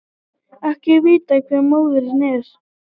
Ekki er vitað hver móðirin er